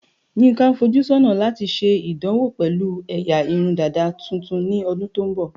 Yinka ń fojú sọ́nà láti ṣe ìdánwò pẹ̀lú ẹ̀yà irun dàda tuntun ní ọdún tó ń bọ̀.